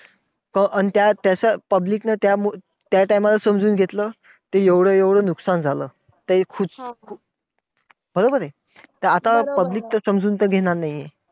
अन त्या त्याचं public नं त्या time ला समजून घेतलं, तर एवढं एवढं नुकसान झालं. तर खु~ खु अं बरोबर हे! तर आता तर public तर समजून घेणार नाहीये.